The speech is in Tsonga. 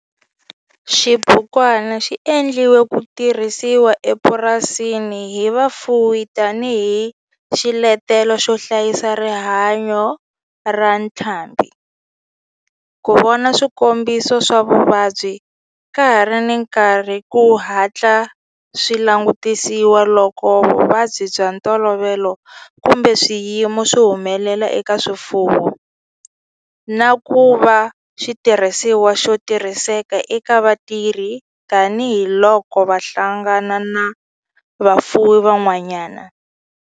Xibukwana xi endliwe ku tirhisiwa emapurasini hi vafuwi tani hi xiletelo xo hlayisa rihanyo ra ntlhambhi, ku vona swikombiso swa vuvabyi ka ha ri na nkarhi ku hatla swi langutisiwa loko vuvabyi bya ntolovelo kumbe swiyimo swi humelela eka swifuwo, na ku va xitirhisiwa xo tirhiseka eka vatirhi tani hi loko va hlangana na vafuwi van'wana.